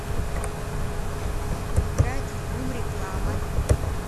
играть в бум реклама